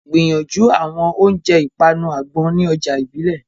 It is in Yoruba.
Gbìyànjú àwọn oúnjẹ ìpanu àgbọn ní ọjà ìbílẹ̀.